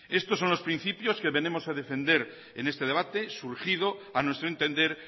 estos son los principios que venimos a defender en este debate surgido a nuestro entender